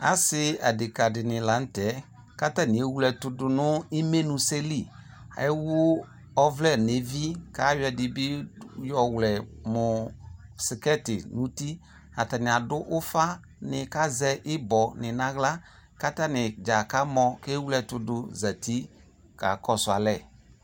Ase ase adeka de ne lantɛ ko atane ewle ɛto do no imenu sɛ li Ewu ɔvlɛ no evi ko ayɔ ade be yɔ wlɛ mo sikɛte uti Atane ado ufa ne ko azɛ ibɔ ne no ahla kata ne dza kamɔ ko ewle ɛto do zati ka kɔso alɛ